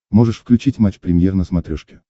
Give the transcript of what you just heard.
можешь включить матч премьер на смотрешке